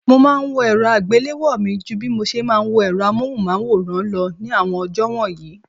Mo máa ńwo èrò àgbéléwò mi ju bí moṣe máa ń wo èrọ amóhùnmáwòrán lọ ní àwọn ọjọ́ wọ̀nyí.